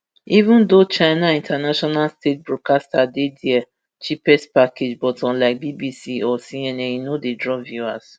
even though china international state broadcaster cgtn dey dia cheapest package but unlike bbc or cnn e no dey draw viewers